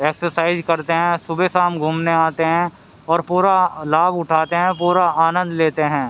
Exercise करते हैं सुबह शाम घूमने आते हैं और पूरा लाभ उठाते है पूरा आनंद लेते हैं।